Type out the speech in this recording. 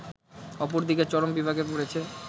অপরদিকে চরম বিপাকে পড়েছে